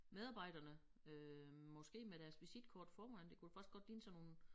Medarbejderne øh måske med deres visitkort foran det kunne det faktisk godt ligne sådan nogle